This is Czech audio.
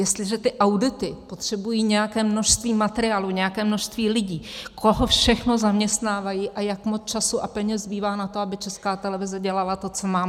Jestliže ty audity potřebují nějaké množství materiálu, nějaké množství lidí, koho všeho zaměstnávají a jak moc času a peněz zbývá na to, aby Česká televize dělala to, co má?